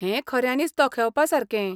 हें खऱ्यानीच तोखेवपासारकें.